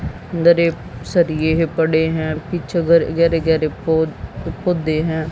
अंदर एक सरिए पड़े हैं पीछे गेरे गेरे पो पौधे है।